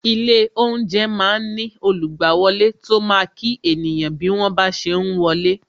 Ilé oúnjẹ máa ń ní olugbawole tó máa kí ènìyàn bí wọ́n ba ṣe ń wọlé